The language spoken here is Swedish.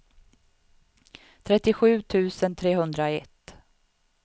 trettiosju tusen trehundraett